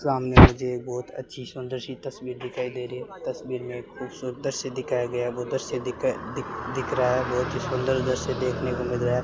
सामने ये बहुत अच्छी सी सुंदर तस्वीर दिखाई दे रही है तस्वीर में कुछ दृश्य दिखाया गया है वह दृश्य दिख रहा है बहुत ही सुंदर दृश्य देखने को मिल रहा है।